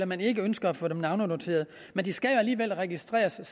man ikke ønsker at få dem navnenoteret men de skal jo alligevel registreres